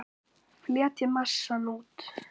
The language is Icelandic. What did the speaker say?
Fletjið massann út.